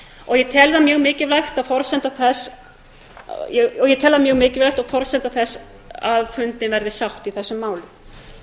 og ég tel það mjög mikilvægt og forsendu þess að fundin verði sátt í þessum málum á meðan